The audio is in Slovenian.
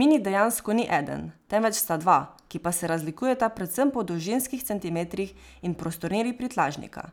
Mini dejansko ni eden, temveč sta dva, ki pa se razlikujeta predvsem po dolžinskih centimetrih in prostornini prtljažnika,